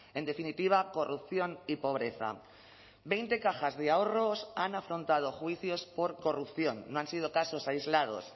en definitiva corrupción y pobreza veinte cajas de ahorros han afrontado juicios por corrupción no han sido casos aislados